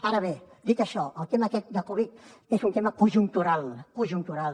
ara bé dit això el tema aquest de covid és un tema conjuntural conjuntural